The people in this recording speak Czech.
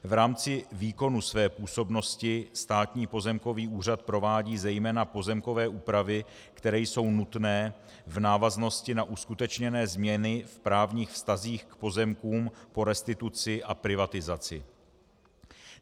V rámci výkonu své působnosti Státní pozemkový úřad provádí zejména pozemkové úpravy, které jsou nutné v návaznosti na uskutečněné změny v právních vztazích k pozemkům po restituci a privatizaci.